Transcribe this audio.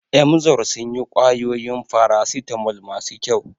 Emzor sun yi ƙwayoyin farasitamol masu kyau.